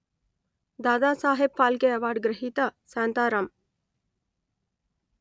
Dadasaheb Phalke award గ్రహీత శాంతారాం